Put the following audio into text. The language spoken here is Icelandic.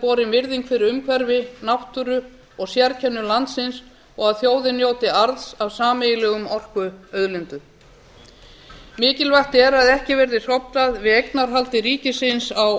borin virðing fyrir umhverfi náttúru og sérkennum landsins og að þjóðin njóti arðs af sameiginlegum orkuauðlindum mikilvægt er að ekki verði hróflað við eignarhaldi ríkisins á